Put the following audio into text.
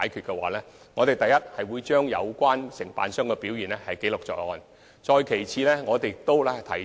不過，我們會將有關承辦商的表現記錄在案。